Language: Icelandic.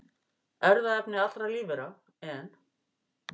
Erfðaefni allra lífvera, en